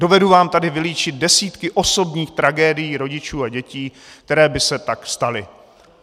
Dovedu vám tady vylíčit desítky osobních tragédií rodičů a dětí, které by se tak staly.